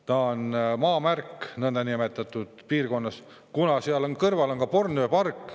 Ta on piirkonnas nõndanimetatud maamärk, kuna seal kõrval on ka Bornhöhe park.